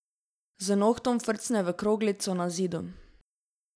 Z nohtom frcne v kroglico na zidu.